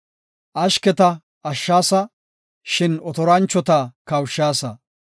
Ashketa ashshaasa; shin otoranchota kawushaasa.